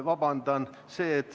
Vabandust!